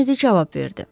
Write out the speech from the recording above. Kenedi cavab verdi.